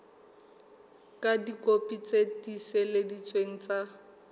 ka dikopi tse tiiseleditsweng tsa